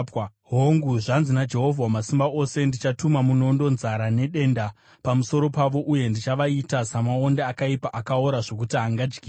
hongu, zvanzi naJehovha Wamasimba Ose, “Ndichatuma munondo, nzara nedenda pamusoro pavo uye ndichavaita samaonde akaipa akaora zvokuti haangadyiwi.